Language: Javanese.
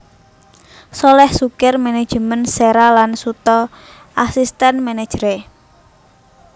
Sholèh Sukir management Séra lan Suto asistèn manageré